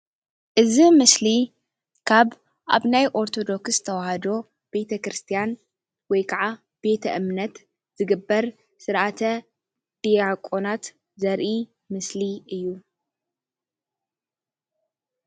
እዚ ምስሊ ካብ ኣብ ናይ ኦርቶዶክስ ተዋህዶ ቤተ ክርስትያን ወይካዓ ቤተ እምነት ዝግበር ስርዓተ ድያቆናት ዘርኢ ምስሊ እዩ፡፡